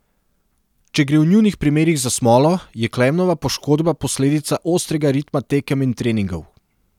Če gre v njunih primerih za smolo, je Klemnova poškodba posledica ostrega ritma tekem in treningov.